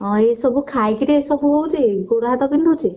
ହଁ ଏସବୁ ଖାଇକରି ଏସବୁ ହଉଛି ଗୋଡ ହାତ ବିନ୍ଧୁଛି?